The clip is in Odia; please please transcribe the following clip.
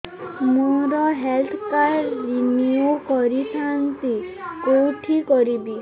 ମୋର ହେଲ୍ଥ କାର୍ଡ ରିନିଓ କରିଥାନ୍ତି କୋଉଠି କରିବି